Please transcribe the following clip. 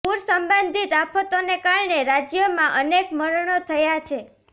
પૂર સંબંધિત આફતોને કારણે રાજ્યમાં અનેક મરણો થયા છે